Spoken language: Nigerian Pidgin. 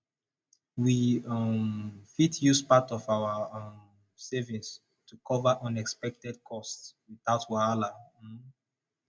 we um fit use part of our um savings to cover unexpected costs without wahala um